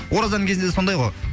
оразаның кезінде де сондай ғой